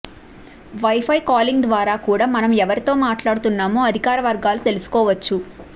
wifi calling ద్వారా కూడా మనం ఎవరితో మాట్లాడుతున్నామో అధికారవర్గాలు తెలుసుకోవచ్చు